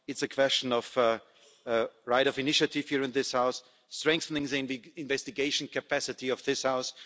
It's a question of right of initiative here in this House, strengthening the investigation capacity of this House.